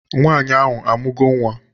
Nwaanyị ahụ amugo nwa?